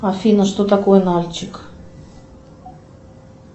афина что такое нальчик